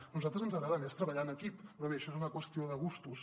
a nosaltres ens agrada més treballar en equip però bé això és una qüestió de gustos